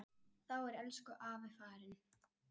Þá er elsku afi farinn.